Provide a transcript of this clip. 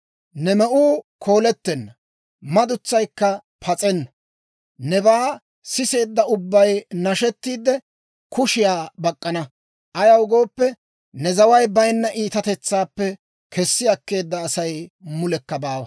Ne me'uu koolettenna; ne madutsaykka pas'enna. Nebaa siseedda ubbay nashettiide, kushiyaa bak'k'ana. Ayaw gooppe, ne zaway bayinna iitatetsaappe kessi akkeedda Asay mulekka baawa.